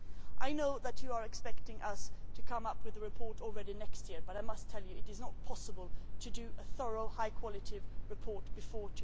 I know that you are expecting us to come up with the report next year, but I must tell you that it is not possible to produce a thorough, high quality report before